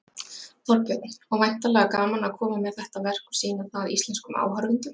Þorbjörn: Og væntanlega gaman að koma með þetta verk og sýna það íslenskum áhorfendum?